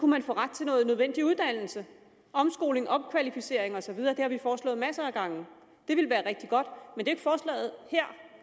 man få ret til noget nødvendig uddannelse omskoling opkvalificering og så videre det har vi foreslået masser af gange og det ville være rigtig godt men det forslaget her